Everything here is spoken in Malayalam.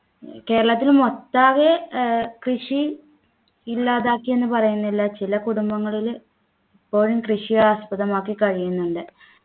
കേരളത്തിലു മൊട്ടാകെ ഏർ കൃഷി ഇല്ലാതാക്കി എന്ന് പറയുന്നില്ല ചില കുടുംബങ്ങളില് ഇപ്പോഴും കൃഷി ആസ്പദമാക്കി കഴിയുന്നുണ്ട്